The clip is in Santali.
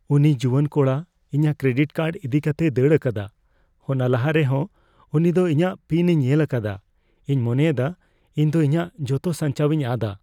ᱩᱱᱤ ᱡᱩᱣᱟᱹᱱ ᱠᱚᱲᱟ ᱤᱧᱟᱜ ᱠᱨᱮᱰᱤᱴ ᱠᱟᱨᱰ ᱤᱫᱤᱠᱟᱛᱮᱭ ᱫᱟᱹᱲ ᱟᱠᱟᱫᱟ ᱾ ᱚᱱᱟ ᱞᱟᱦᱟᱨᱮ ᱦᱚᱸ ᱩᱱᱤ ᱫᱚ ᱤᱧᱟᱜ ᱯᱤᱱᱼᱮ ᱧᱮᱞ ᱟᱠᱟᱫᱟ ᱾ ᱤᱧ ᱢᱚᱱᱮᱭᱮᱫᱟ ᱤᱧ ᱫᱚ ᱤᱧᱟᱜ ᱡᱚᱛᱚ ᱥᱟᱧᱪᱟᱣᱤᱧ ᱟᱫᱼᱟ ᱾